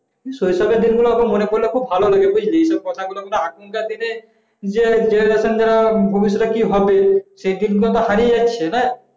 শেখানোর জন্য আমার মনে পড়লো খুব ভালো তো এখনকার দিনে সেই দিন যে তো সব হারিয়ে যাচ্ছে না